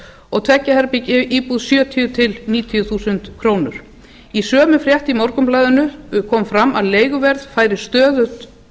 og tveir ja herbergja íbúð sjötíu til níutíu þúsund krónur í sömu frétt í morgunblaðinu kom fram að leiguverð færi stöðugt